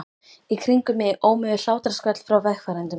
Í kringum mig ómuðu hlátrasköll frá vegfarendum.